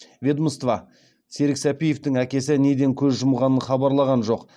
ведомство серік сәпиевтің әкесі неден көз жұмғанын хабарлаған жоқ